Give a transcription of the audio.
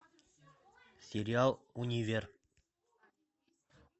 сериал универ